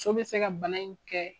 So bɛ se ka bana in kɛ.